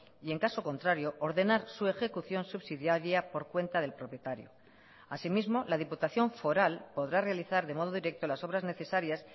y en caso contrario ordenar su ejecución subsidiaria por cuenta del propietario asimismo la diputación foral podrá realizar de modo directo las obras necesarias